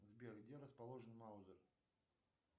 сбер где расположен маузер